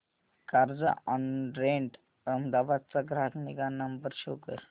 Carzonrent Ahmedabad चा ग्राहक निगा नंबर शो कर